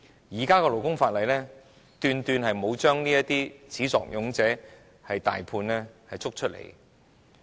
根據現行勞工法例，斷斷沒有把這些始作俑者抓出來。